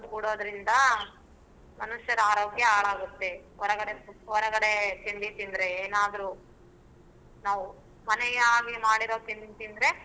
ಕೂಡೊದ್ರಿಂದ ಮನುಷ್ಯರ ಆರೋಗ್ಯ ಹಾಳಾಗುತ್ತೆ ಹೊರಗಡೆ ತಿಂಡಿ ತಿಂದ್ರೆ ಏನಾದ್ರೂ ನಾವು ಮನೆಯಲ್ಲಿ ಮಾಡಿರೋ ತಿಂಡಿ ತಿಂದ್ರೆ.